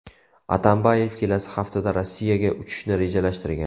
Atambayev kelasi haftada Rossiyaga uchishni rejalashtirgan.